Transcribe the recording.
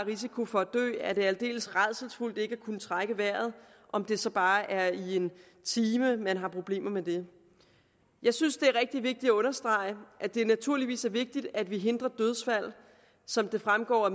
risiko for at dø er det aldeles rædselsfuldt ikke at kunne trække vejret om det så bare er i en time man har problemer med det jeg synes det er rigtig vigtigt at understrege at det naturligvis er vigtigt at vi hindrer dødsfald som det fremgår af